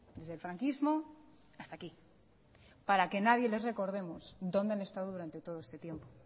desde el franquismo hasta aquí para que nadie les recordemos donde han estado durante todo este tiempo